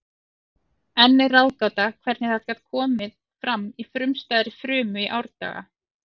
Enn er ráðgáta hvernig það gat komið fram í frumstæðri frumu í árdaga.